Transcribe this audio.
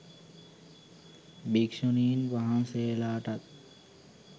භික්ෂුනීන් වහන්සේලාටත්